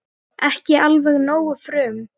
Ekki alveg nógu frum